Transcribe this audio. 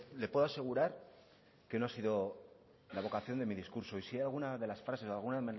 le puedo asegurar que no ha sido la vocación de mi discurso y si alguna de las frases o alguna